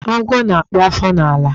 Agwọ́ na-akpụ afọ n'ala.